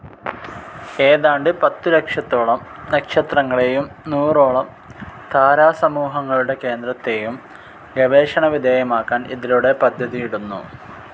ഏതാണ്ട് പത്തുലക്ഷത്തോളം നക്ഷത്രങ്ങളേയും നൂറോളം താരാസമൂഹങ്ങളുടെ കേന്ദ്രത്തേയും ഗവേഷണവിധേയമാക്കാൻ ഇതിലൂടെ പദ്ധതിയിടുന്നു.